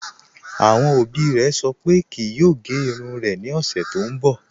Awọn obì rẹ̀ sọ̀ pé kíì yòò gẹ̀ irùn rẹ̀ ni ọṣẹ̀ tó nbọ